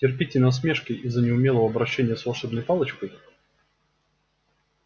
терпите насмешки из-за неумелого обращения с волшебной палочкой